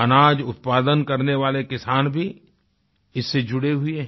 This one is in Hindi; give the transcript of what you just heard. अनाज़ उत्पादन करने वाले किसान भी इससे जुड़ें हुए हैं